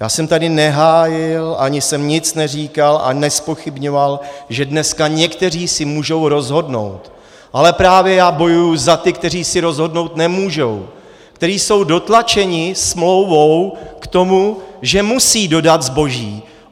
Já jsem tady nehájil ani jsem nic neříkal a nezpochybňoval, že dneska někteří si můžou rozhodnout, ale právě já bojuji za ty, kteří si rozhodnout nemůžou, kteří jsou dotlačeni smlouvou k tomu, že musí dodat zboží.